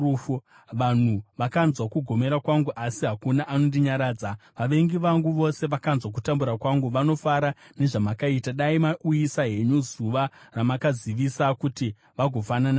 “Vanhu vakanzwa kugomera kwangu, asi hakuna anondinyaradza. Vavengi vangu vose vakanzwa kutambura kwangu; vanofara nezvamakaita. Dai mauyisa henyu zuva ramakazivisa kuti vagofanana nemi.